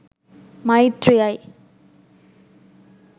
මෛත්‍රීයයි.